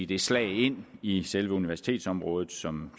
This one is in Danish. det slag ind i selve universitetsområdet som